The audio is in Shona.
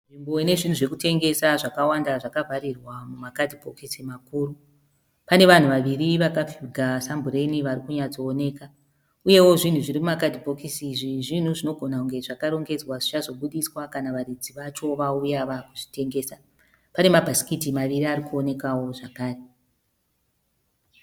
Nzvimbo inezvinhu zvekutengesa zvakawanda zvakavharirwa mumakadhibhokisi makuru. Pane vanhu vaviri vakafuga sambureni varikunyatsooneka. Uyewo zvinhu zvirimumakadhibhokisi izvi zvinhu zvinogona kunge zvakarongedzwa zvichazobuditswa kana varidzi vacho vauya vaakuzvitengesa. Pane mabhasikiti maviri arikuonekawo zvakare.